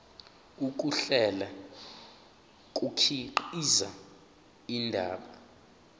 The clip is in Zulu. ukuhlela kukhiqiza indaba